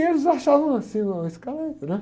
E eles achavam assim o, né?